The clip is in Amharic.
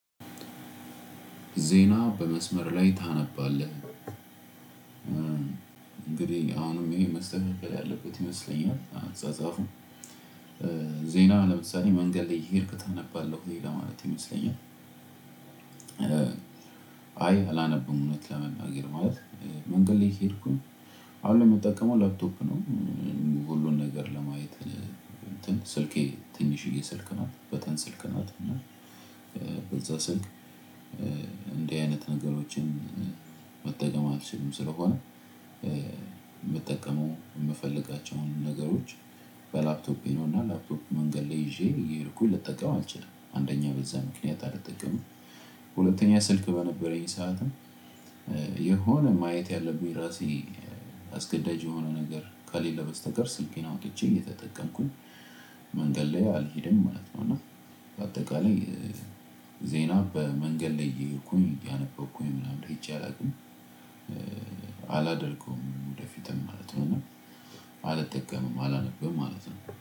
ዜና በመስመር ላይ ታነባለህ እንግዲህ አሁንም ይሄን መስተፍቀል ያለበት ይመስለኛል አጻጻፉም ዜና ለምሳሌ መንገድ ላይ እየሄድክ ታነባለህ ለሌላ ማለት ይመስለኛል። አይ አላነብም እውነት ለመናገር ማለት መንገድ ላይ ሄድኩኝ። አሁን ለመጠቀም ላፕቶፕ ነው። ሁሉን ነገር ለማየት ስልኬ ትንሽዬ ስልክ ናት በተን ስልክ ናት። እና በዛ ስልክ እንዲህ አይነት ነገሮችን መጠቀም አልችልም። ስለሆነ የምጠቀመው የምፈልጋቸውን ነገሮች በላፕቶፕ ና ላፕቶፕ መንገድ ላይ ይዤ እየሄድኩኝ ልጠቀም አልችልም አንደኛው በዛ ምክንያት አልተጠቀምም። ሁለተኛ ስልክ በነበረኝ ሰዓትም የሆነ ማየት ያለብኝ ራሴ አስገዳጅ የሆነ ነገር ከሌለ በስተቀር ስልኬን አውጥቼ እየተጠቀምኩኝ መንገድ ላይ አልሄድም ማለት ነው። እና በአጠቃላይ ዜና በመንገድ ላይ እየሄድኩኝ ያነበብኩኝ ምናምን ለይቼ አላውቅም። አላደርገውም ወደፊትም ማለት ነው። አልጠቀምም አላነብም ማለት ነው።